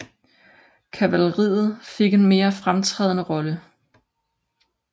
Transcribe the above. Kavaleriet fik en mere fremtrædende rolle